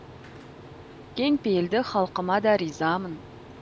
кең пейілді халқыма да ризамын